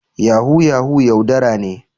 Yahoo yahoo yaudara ne.